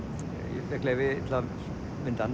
ég fékk leyfi til að mynda hann